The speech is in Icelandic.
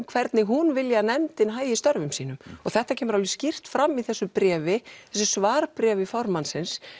hvernig hún vilji að nefndin hagi störfum sínum og þetta kemur alveg skýrt fram í þessu bréfi svarbréfi formannsins